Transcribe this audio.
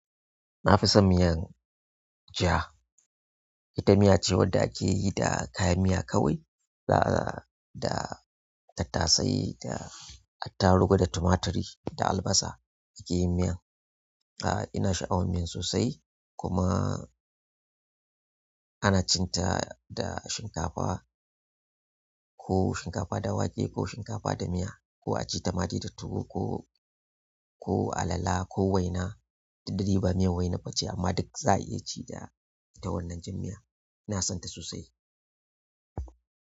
Na fi son miyan ja. Ita miya ce wanda ake yi da kayan miya kawai, da tattasai da attarugu da tumaturi da albasa ake yin miyan. A'a ina sha'awan miyan sosai kuma ana cin ta da shinkafa, ko shinkafa da wake ko shinkafa da miya ko a ci tamade da tuwo ko, ko alala ko waina. Dik da dai ba miyan waina ba ce amma duk za a iya ci da ita wannan jan miya. Ina son ta sosai.